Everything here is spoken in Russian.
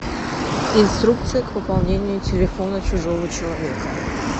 инструкция к пополнению телефона чужого человека